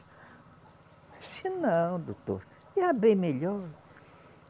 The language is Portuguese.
Disse, não, doutor, já bem melhor.